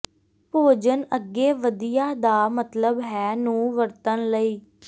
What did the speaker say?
ਭੋਜਨ ਅੱਗੇ ਵਧੀਆ ਦਾ ਮਤਲਬ ਹੈ ਨੂੰ ਵਰਤਣ ਲਈ